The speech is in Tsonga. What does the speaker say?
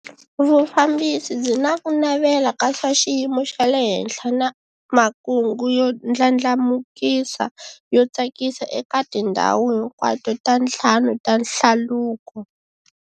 Vufambisi byi na ku navela ka swa xiyimo xa le henhla na makungu yo ndlandlamukisa yo tsakisa eka tindhawu hinkwato ta ntlhanu ta hlaluko.